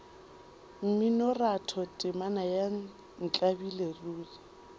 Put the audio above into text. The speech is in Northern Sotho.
mminoratho temana ya ntlabile ruri